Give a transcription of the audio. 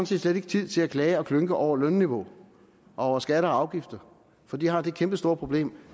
set slet ikke tid til at klage og klynke over lønniveau og over skatter og afgifter for de har det kæmpestore problem